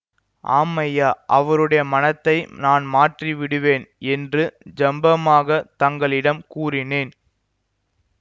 ஆம் ஐயா அவருடைய மனத்தை நான் மாற்றி விடுவேன் என்று ஜம்பமாகத் தங்களிடம் கூறினேன்